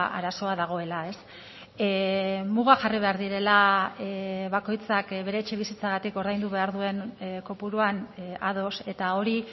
arazoa dagoela mugak jarri behar direla bakoitzak bere etxebizitzagatik ordaindu behar duen kopuruan ados eta hori